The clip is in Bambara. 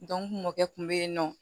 kun be yennɔ